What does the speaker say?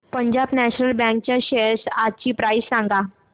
Punjab National Bank च्या shares आजची price सांगा